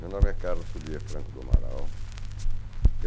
Meu nome é Carlos Fulia Franco do Amaral.